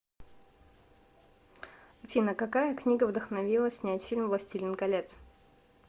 афина какая книга вдохновила снять фильм властелин колец